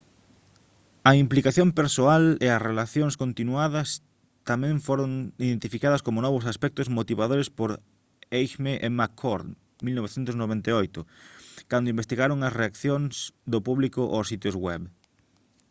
a implicación persoal e a relacións continuadas tamén foron identificadas como novos aspectos motivadores por eighmey e mccord 1998 cando investigaron as reaccións do público aos sitios web